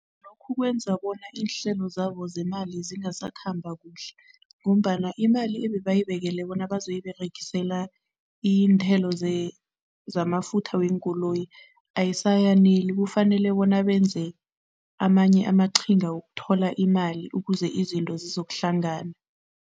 Lokhu kwenza bona iinhlelo zabo zemali zingasakhamba kuhle ngombana imali ebebayibekele bona bazoyiberegisela iinthelo zamafutha weenkoloyi ayisayaneli. Kufanele bona benze amanye amaqhinga wokuthola imali ukuze izinto zizokuhlangana.